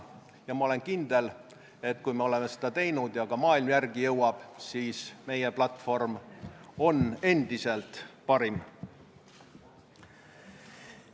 Ja ma olen kindel, et kui oleme seda teinud ja ka ülejäänud maailm järele jõuab, siis meie platvorm on endiselt parim.